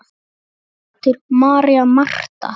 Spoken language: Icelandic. Þín dóttir, María Marta.